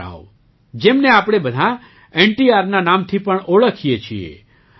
રામારાવ જેમને આપણે બધાં NTRના નામથી પણ ઓળખીએ છીએ